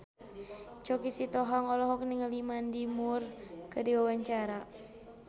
Choky Sitohang olohok ningali Mandy Moore keur diwawancara